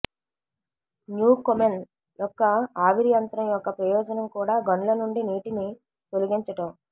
Newcomen యొక్క ఆవిరి యంత్రం యొక్క ప్రయోజనం కూడా గనుల నుండి నీటిని తొలగించటం